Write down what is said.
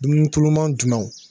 Dunun tuluman jumɛnw?